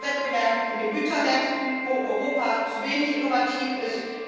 Über Wettbewerb auf den Gütermärkten, wo Europa zu wenig innovativ ist.